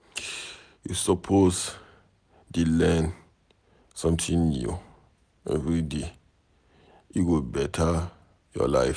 You suppose dey learn something new everyday, e go beta your life.